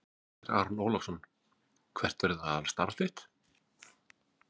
Hersir Aron Ólafsson: Hvert verður aðalstarf þitt?